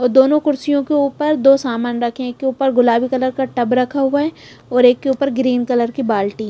और दोनों कुर्सियों के ऊपर दो सामान रखे हैं एक के ऊपर गुलाबी कलर का टब रखा हुआ है और एक के ऊपर ग्रीन कलर की बाल्टी --